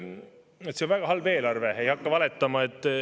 See on väga halb eelarve, ei hakka valetama.